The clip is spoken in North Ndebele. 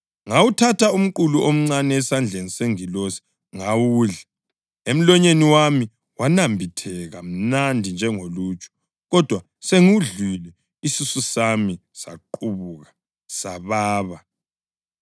Ngawuthatha umqulu omncane esandleni sengilosi ngawudla. Emlonyeni wami wanambitheka mnandi njengoluju, kodwa sengiwudlile isisu sami saqubuka, sababa.